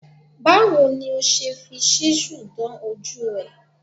Báwo ni o ṣe fi ṣúsù dán ojú ẹ̀?